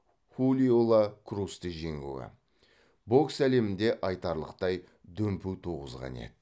хулио ла крусты жеңуі бокс әлемінде айтарлықтай дүмпу туғызған еді